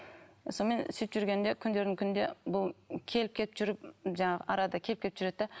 сонымен сөйтіп жүргенде күндердің күнінде бұл келіп кетіп жүріп жаңағы арада келіп кетіп жүреді де